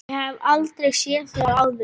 Ég hef aldrei séð þau!